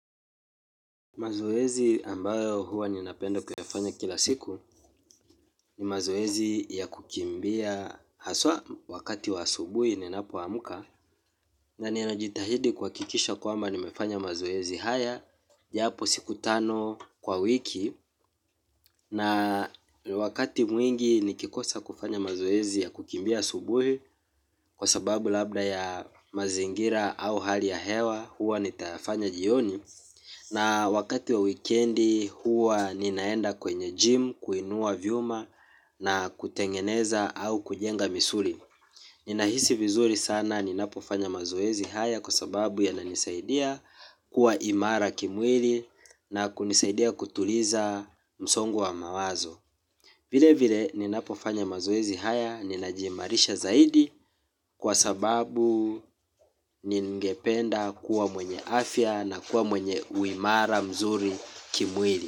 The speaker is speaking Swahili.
Mazoezi ambayo huwa ninapenda kuyafanya kila siku ni mazoezi ya kukimbia haswa wakati wa asubuhi ninapoamuka na ninajitahidi kuhakikisha kwamba nimefanya mazoezi haya japo siku tano kwa wiki na wakati mwingi nikikosa kufanya mazoezi ya kukimbia asubuhi kwa sababu labda ya mazingira au hali ya hewa huwa nitayafanya jioni. Na wakati wa wikendi huwa ninaenda kwenye gym, kuinua vyuma na kutengeneza au kujenga misuri. Ninahisi vizuri sana ninapofanya mazoezi haya kwa sababu yananisaidia kuwa imara kimwili na kunisaidia kutuliza msongo wa mawazo. Vile vile ninapofanya mazoezi haya ninajimarisha zaidi kwa sababu ningependa kuwa mwenye afya na kuwa mwenye uimara mzuri kimwili.